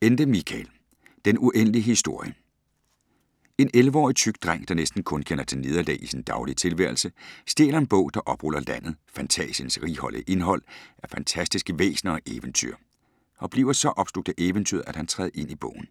Ende, Michael: Den uendelige historie En 11-årig tyk dreng, der næsten kun kender til nederlag i sin daglige tilværelse, stjæler en bog, der opruller landet Fantásiens righoldige indhold af fantastiske væsner og eventyr og bliver så opslugt af eventyret, at han træder ind i bogen.